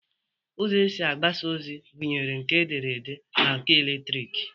Ụzọ esi agbasa ozi gụnyere nke edere ede na nke eletriki